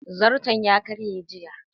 Zairton ya karye jiya